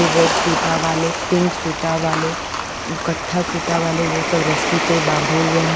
Red सूता वाले pink सूता वाले कत्था सूता वाले वो सब रस्सी पे बाँधे हुए हैं।